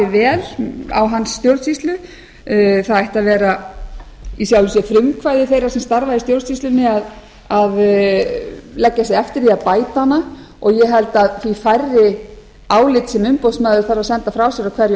vel á hans stjórnsýslu það ætti að vera í sjálfu sér frumkvæði þeirra sem starfa í stjórnsýslunni að leggja sig eftir því að bæta hana og ég held að því færri álit sem umboðsmaður þarf að senda frá sér á hverju